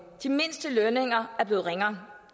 de mindste lønninger er blevet ringere